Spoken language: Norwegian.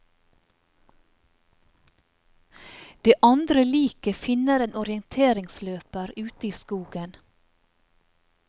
Det andre liket finner en orienteringsløper ute i skogen.